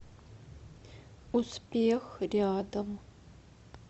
успех рядом